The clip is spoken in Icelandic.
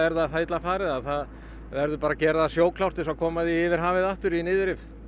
það illa farið að það verður bara að gera það sjóklárt til þess að koma því yfir hafið aftur í niðurrif